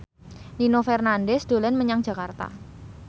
Nino Fernandez dolan menyang Jakarta